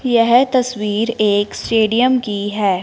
यह तस्वीर एक स्टेडियम की है।